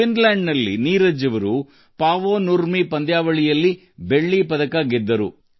ಫಿನ್ಲ್ಯಾಂಡ್ನಲ್ಲಿ ನಡೆದ Paavo Nurmi ಕ್ರೀಡಾಕೂಟದಲ್ಲಿ ನೀರಜ್ ಬೆಳ್ಳಿ ಗೆದ್ದರು